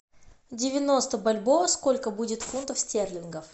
девяносто бальбоа сколько будет фунтов стерлингов